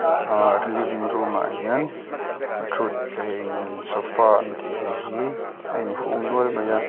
living room ah hian thuthleng sofa an tih hi a inhung nual mai a.